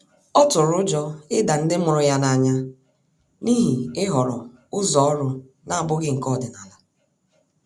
Ọ tụrụ ụjọ ịda ndi mụrụ ya n'anya n'ihi ihọrọ ụzọ ọrụ na-abụghị nke ọdịnala.